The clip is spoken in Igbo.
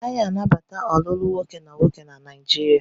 A naghi anabata olulu nwoke na nwoke na Naijiria.